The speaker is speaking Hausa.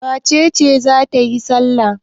Wace ce za ta yi salla?